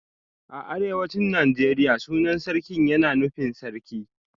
A arewacin Najeriya sunan Sarkin yana nufin Sarki